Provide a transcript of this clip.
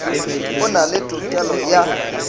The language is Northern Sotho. o na le tokelo ya